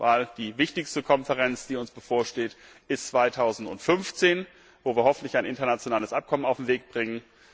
Denn die wichtigste Konferenz, die uns bevorsteht, ist 2015, wo wir hoffentlich ein internationales Abkommen auf den Weg bringen.